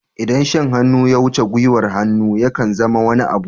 Idan shan hannu ya wuce gwiwar hannu, ya kan zama wani abu.